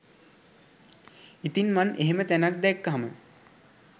ඉතින් මං එහෙම තැනක් දැක්කහම